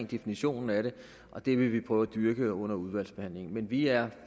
definitioner og det vil vi prøve at dyrke under udvalgsbehandlingen men vi er